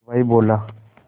हलवाई बोला